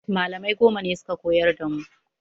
Malamai goma ne suka koyar da mu